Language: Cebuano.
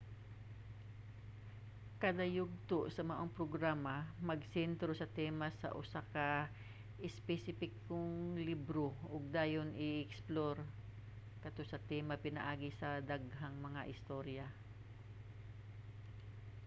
kada yugto sa maong programa magsentro sa tema sa usa ka espesipikong libro ug dayon i-eksplor kato nga tema pinaagi sa daghang mga istorya